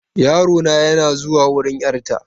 Yarona yana zuwa wurin 'yarta.